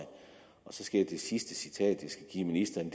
det sidste citat jeg skal give ministeren